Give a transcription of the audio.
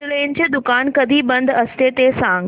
चितळेंचं दुकान कधी बंद असतं ते सांग